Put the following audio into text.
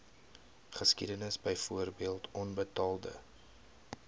geskiedenis byvoorbeeld onbetaalde